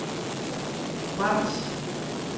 brems